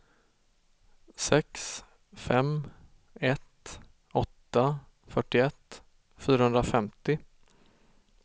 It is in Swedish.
sex fem ett åtta fyrtioett fyrahundrafemtio